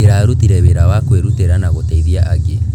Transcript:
Ndĩrarutire wĩra wa kwĩrutĩra na gũteithia angĩ.